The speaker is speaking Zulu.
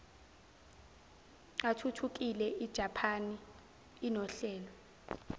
athuthukile ijaphani inohlelo